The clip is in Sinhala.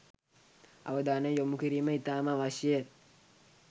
අවධානය යොමු කිරීම ඉතාම අවශ්‍යය.